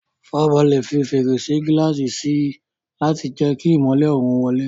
Farabalẹ̀ fi fèrèsé gíláàsì sí i láti jẹ́ kí ìmọ́lẹ̀ oòrùn wọlé.